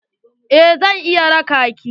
Eh zan iya raƙa ki.